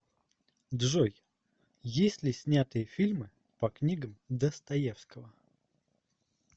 джой есть ли снятые фильмы по книгам достоевского